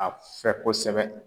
A fɛ kosɛbɛ